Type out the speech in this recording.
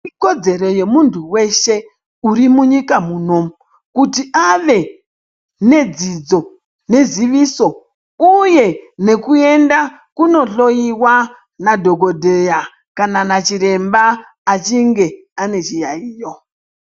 Ikodzero yemuntu weshe urimunyika munomu kuti ave nedzidzo neziviso uye nekuyenda kunohloyiwa nadhokodheya kana nachiremba achinge ane chiyaiyo.